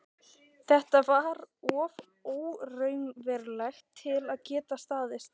Þetta var of óraunverulegt til að geta staðist.